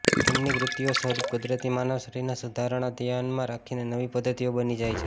તેમની કૃતિઓ સ્વરૂપ કુદરતી માનવ શરીરના સુધારણા ધ્યાનમાં રાખીને નવી પદ્ધતિઓ બની જાય છે